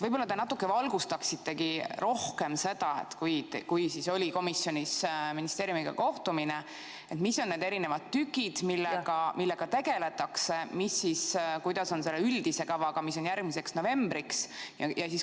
Võib-olla te natuke valgustaksitegi rohkem seda, et kui oli komisjonis ministeeriumiga kohtumine, siis mis on need erinevad tükid, millega tegeldakse, kuidas on selle üldise kavaga, mis tuleb järgmiseks novembriks.